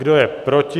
Kdo je proti?